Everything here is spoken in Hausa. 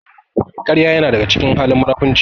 Ƙarya ya na daga cikin halin munafurci